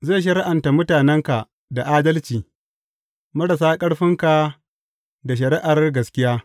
Zai shari’anta mutanenka da adalci, marasa ƙarfinka da shari’ar gaskiya.